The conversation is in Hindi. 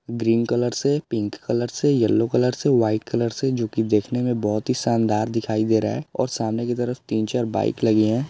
ग्रीन कलर से पिंक कलर से येलो कलर से व्हाइट कलर से जोकि देखने मे बहोत ही शानदार दिखाई दे रहा है और सामने की तरफ तीन-चार बाइक लगी है।